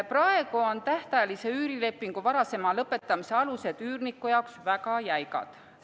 Praegu on tähtajalise üürilepingu varasema lõpetamise alused üürniku jaoks väga jäigad.